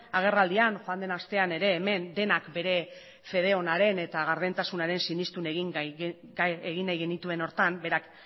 agerraldian joan den astean ere hemen denak bere fede onaren eta gardentasunaren sinestu egin nahi genituen horretan berak